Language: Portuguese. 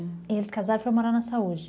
E eles casaram e foram morar na saúde.